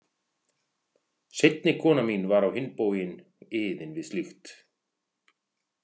Seinni konan mín var á hinn bóginn iðin við slíkt.